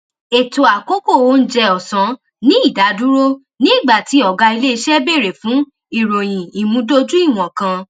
ètò àkókò oúnjẹ òsán ní ìdádúró nígbà tí ògá ilé iṣé bèrè fún ìròyìn ìmùdójúìwọn kan